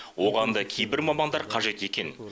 оған да кейбір мамандар қажет екен